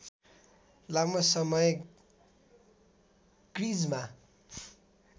लामो समय क्रिजमा